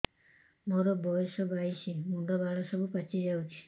ମୋର ବୟସ ବାଇଶି ମୁଣ୍ଡ ବାଳ ସବୁ ପାଛି ଯାଉଛି